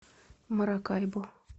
маракайбо